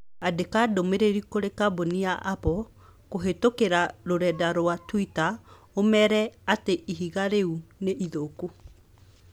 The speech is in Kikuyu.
Andĩka ndũmīrīri kũrī kambũni ya apple kũhītũkīra rũrenda rũa tũita ũmeere atĩ ihiga riu nĩ ithuku.